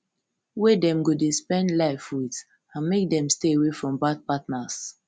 wey dem go dey spend life with and make dem stay away from bad partners